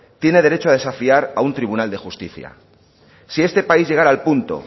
tiene derecho a desafiar a un tribunal de justicia si esta país llegará al punto